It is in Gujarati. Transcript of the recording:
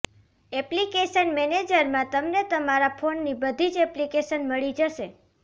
એપ્લિકેશન મેનેજરમાં તમને તમારા ફોનની બધી જ એપ્લિકેશન મળી જશે